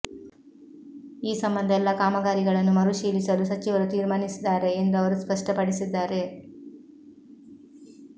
ಈ ಸಂಬಂಧ ಎಲ್ಲಾ ಕಾಮಗಾರಿಗಳನ್ನು ಮರು ಪರಿಶೀಲಿಸಲು ಸಚಿವರು ತೀರ್ಮಾನಿಸಿದ್ದಾರೆ ಎಂದು ಅವರು ಸ್ಪಷ್ಟಪಡಿಸಿದ್ದಾರೆ